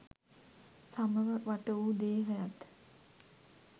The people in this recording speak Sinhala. සමව වට වූ දේහයත්